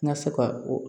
N ka se ka o